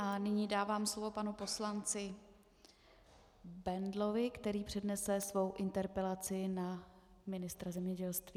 A nyní dávám slovo panu poslanci Bendlovi, který přednese svou interpelaci na ministra zemědělství.